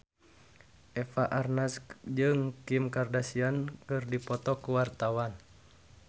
Eva Arnaz jeung Kim Kardashian keur dipoto ku wartawan